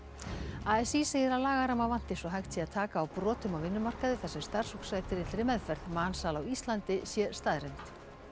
a s í segir að lagaramma vanti svo hægt sé að taka á brotum á vinnumarkaði þar sem starfsfólk sætir illri meðferð mansal á Íslandi sé staðreynd